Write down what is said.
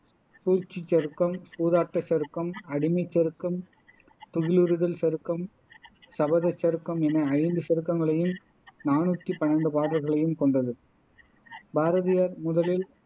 சூழ்ச்சிச்சருக்கம், சூதாட்டச் சருக்கம், அடிமைச் சருக்கம், துகிலுரிதல் சருக்கம், சபதச் சருக்கம் என ஐந்து சருக்கங்களையும் நானூத்தி பன்னண்டு பாடல்களையும் கொண்டது பாரதியார் முதலில்